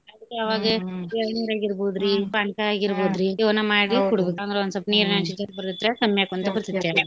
ಆವಾಗ ಎಳ್ನೀರಾಗಿರ್ಬೋದ್ರೀ ಪಾನ್ಕಾ ಆಗಿರ್ಬೋದ್ರೀ ಇವನ್ನ ಮಾಡಿ ಅಂದ್ರ ಇವನ ಮಾಡಿ ಅಂದ್ರ ಒಂದ್ಸೊಪ್ ನೀರ್ನ್ಯಾಗ್ ಬರ್ತೇತ್ರ್ಯಾ ಕಮ್ಮಿ ಆಕ್ಕೋಂತ .